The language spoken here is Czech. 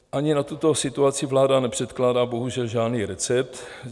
Ani na tuto situaci vláda nepředkládá bohužel žádný recept.